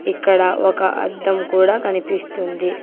ఇక్కడ ఒక అద్దం కూడా కనిపిస్తుంది